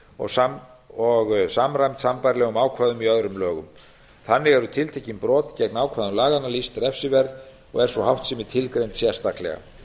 gerð skýrari og samræmd sambærilegum ákvæðum í öðrum lögum þannig eru tiltekin brot gegn ákvæðum laganna lýst refsiverð og er sú háttsemi tilgreind sérstaklega